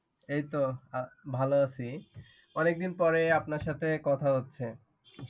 এইতো ভালো আছি। অনেক দিন পরে আপনার সাথে কথা হচ্ছে।